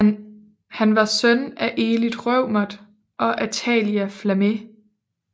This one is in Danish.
Han var søn af Elith Reumert og Athalia Flammé